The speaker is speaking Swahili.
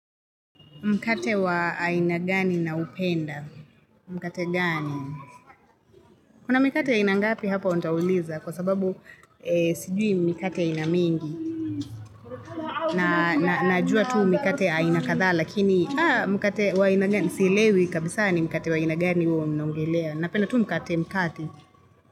Mkate wa aina gani naupenda. Mkate gani. Kuna mikate aina ngapi hapo nitauliza kwa sababu sijui mikate aina mingi. Najua tu mikate aina kadhaa lakini mkate wa aina gani. Sielewi kabisaa ni mikate wa aina gani huo mnanogelea. Napenda tu mkate mkate.